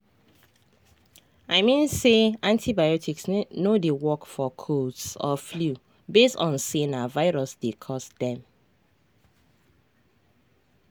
i mean say antibiotics no dey work for colds or flu base on say na virus dey cause dem.